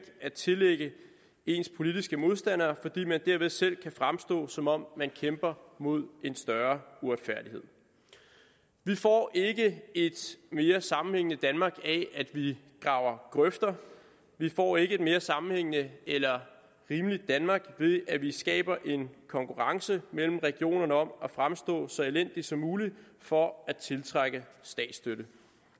at tillægge ens politiske modstandere fordi man derved selv kan fremstå som om man kæmper mod en større uretfærdighed vi får ikke et mere sammenhængende danmark af at vi graver grøfter vi får ikke et mere sammenhængende eller rimeligt danmark ved at vi skaber en konkurrence mellem regionerne om at fremstå så elendigt som muligt for at tiltrække statsstøtte